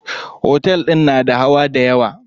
Otel din na da hawa dayawa.